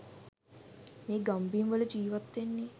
මේ ගම්බිම්වල ජීවත්වෙන්න